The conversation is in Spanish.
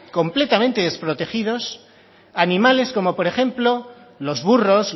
completamente desprotegidos animales como por ejemplo los burros